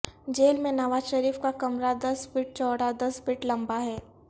jail میں نواز شریف کا کمرہ دس فٹ چوڑا دس فٹ لمبا ہے